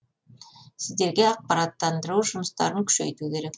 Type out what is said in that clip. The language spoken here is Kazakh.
сіздерге ақпараттандыру жұмыстарын күшейту керек